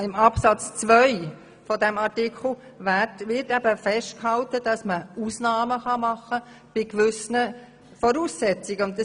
In Absatz 2 dieses Artikels wird eben festgehalten, dass man Ausnahmen bei gewissen Voraussetzungen machen kann.